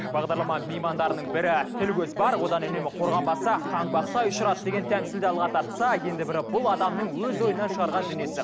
бағдарлама меймандарының бірі тіл көз бар одан үнемі қорғанбаса қаңбақтай ұшырады деген тәмсілді алға тартса енді бірі бұл адамның өз ойынан шығарған дүниесі